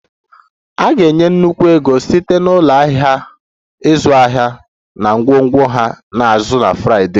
A ga-enye nnukwu ego site na ụlọ ahịa ịzụ ahịa na ngwongwo ha na azụ Friday